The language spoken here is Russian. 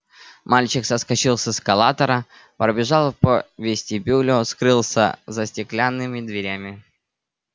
мальчик соскочил с эскалатора пробежал по вестибюлю скрылся за стеклянными дверями